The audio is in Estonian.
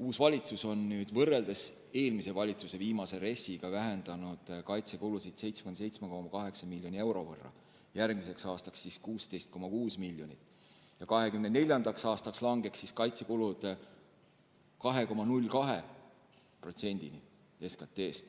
uus valitsus on võrreldes eelmise valitsuse viimase RES-iga vähendanud kaitsekulusid 77,8 miljoni euro võrra, järgmiseks aastaks on 16,6 miljonit eurot ja 2024. aastaks kahaneks kaitsekulud 2,02%-ni SKT-st.